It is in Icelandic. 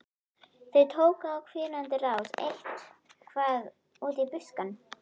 Þau tóku á hvínandi rás eitt- hvað út í buskann.